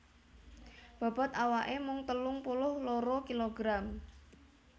Bobot awaké mung telung puluh loro kilogram